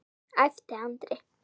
æpti Andri.